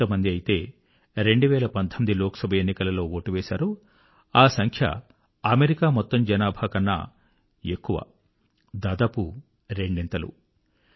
ఎంతమంది ఐతే 2019 లోక్ సభ ఎన్నికలలో వోటు వేశారో ఆ సంఖ్య అమెరికా మొత్తం జనాభా కన్నా ఎక్కువ దాదాపు రెండింతలు